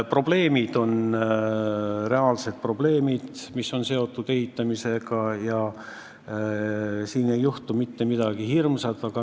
Seal on reaalsed probleemid, mis on seotud ehitamisega, kuid siin ei juhtu mitte midagi hirmsat.